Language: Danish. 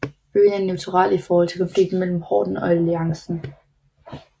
Byen er neutral i forhold til konflikten mellem Horden og Alliancen